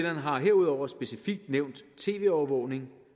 har herudover specifikt nævnt tv overvågning